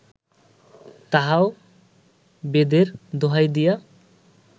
তাহাও বেদের দোহাই দিয়া